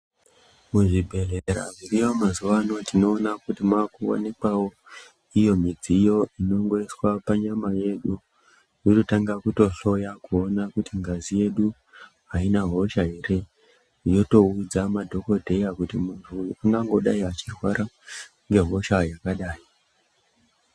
Muzvibhedhlera zviriyo mazuvano, tinoona kuti munowanikwawo iyo midziyo inongoiswa panyama yedu yototanga kutohloya kuona kuti ngazi yedu haina hosha here, yotoudza madhogodheya kuti muntu uyu unodai achirwara ngehosha yakadai.